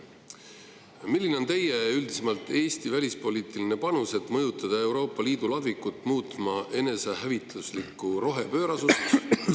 Aga milline on teie ja üldisemalt Eesti välispoliitiline panus, et mõjutada Euroopa Liidu ladvikut muutma enesehävituslikku rohepöörasust?